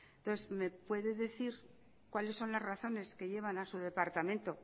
entonces me puede decir cuáles son las razones que llevan a sus departamento